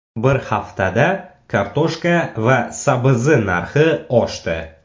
Bir haftada kartoshka va sabzi narxi oshdi.